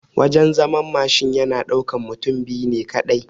Wajan zaman Mashin yana ɗaukan mutum biyu ne kaɗai